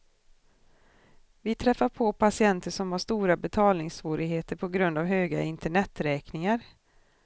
Vi träffar på patienter som har stora betalningssvårigheter på grund av höga interneträkningar.